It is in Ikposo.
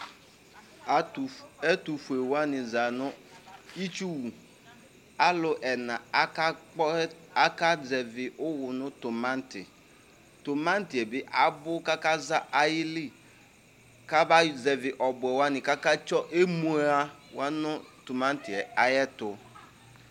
Atu, ɛtufue wani za nʋ itsuwu alu ena akakpɔ, akazɛvi ʋwu nʋ timatitimati yɛ bi abʋ , kʋ akaza ayilikabazɛvi ɔbuɛ wani, kʋ Akatsɔ emua wa nʋ timati yɛ ayiʋ ɛtu